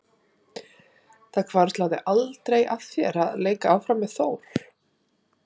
Hvarflaði aldrei að þér að leika áfram með Þór?